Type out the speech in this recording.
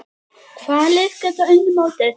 Hvaða lið geta unnið mótið?